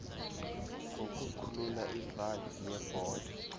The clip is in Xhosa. ngokukhulula ivalve yebhola